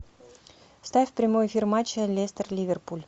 ставь прямой эфир матча лестер ливерпуль